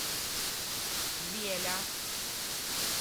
веля